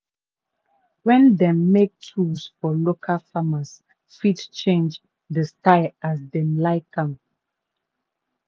wen dem make tools for locally farners fit change dey style as dem like am.